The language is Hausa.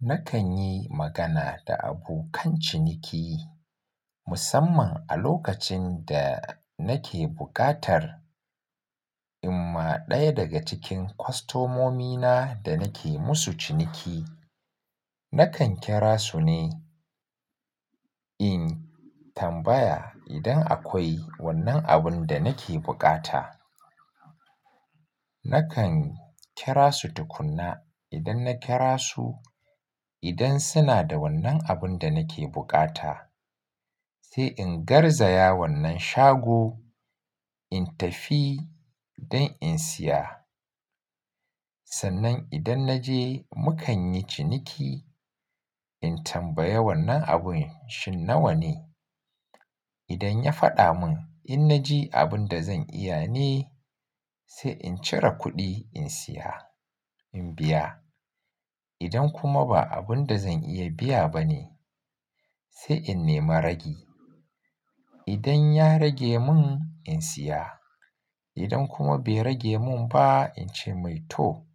Nakan yi magana da abokan ciniki musamman a lokacin da nake buƙatar, amma ɗaya daga cikin kwastomomina da nake musu ciniki, nakan kira su ne in tambaya idan akwai wannan abun da nake bukata. Nakan kira su tukuna idan na kira su, idan suna da wannan abun da nake bukata, sai in garzaya wannan shago in tafi don in siya. Sannan idan na je mu kan yi ciniki in tambayi wannan abun shin nawa ne. Idan ya faɗa mun in na ji abun da zan iya ne sai in cire kuɗi in siya, in biya. Idan kuma ba abun da zan iya biya ba ne sai in nema ragi. Idan ya rage mun in siya, idan kuma bai rage mun ba in ce mai to